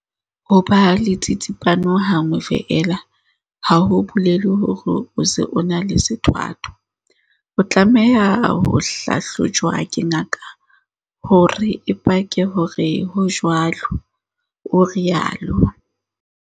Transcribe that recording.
"Ho ba le tsitsipano ha nngwe feela ha ho bolele hore o se o na le sethwathwa. O tlameha ho hlahlojwa ke ngaka hore e pake hore ho jwalo," o rialo.